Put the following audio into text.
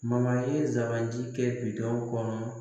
ye sabanan ji kɛ bitɔn kɔnɔ